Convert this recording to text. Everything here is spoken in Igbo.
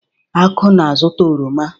Aku na-azuta oroma.